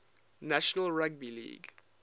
national rugby league